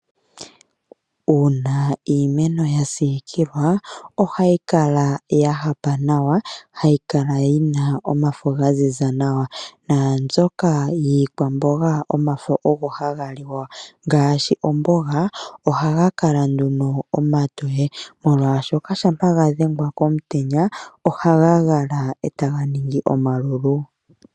Uuna iimeno ya siikilwa ohayi kala ya hapa nawa, hayi kala yi na omafo ga ziza nawa. Naambyoka yiikwamboga omafo ogo ha ga liwa ngaashi omboga ohaga kala nduno omatoye, molwaashoka shampa ga dhengwa komutenya oha ga gala e ta ga ningi omalulu.